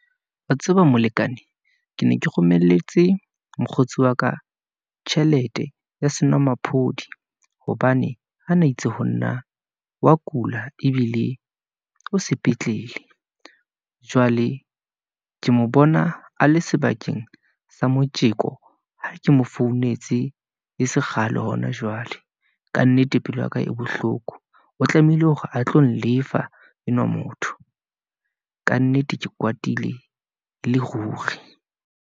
Wa tseba molekane, ke ne ke romelletse mokgotsi waka tjhelete ya senwamaphodi, hobane ho na itse ho nna wa kula, ebile o sepetlele . Jwale ke mo bona a le sebakeng sa motjeko, ha ke mo founetse le sekgale hona jwale. Kannete, pelo yaka e bohloko, o tlamehile hore a tlo lefa enwa motho, kannete ke kwatile e le ruri.